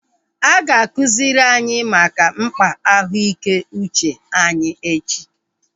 A ga-akụziri anyị maka mkpa ahụ ike uche anyi echi